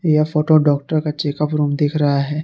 यह photo doctor का check up room दिख रहा है।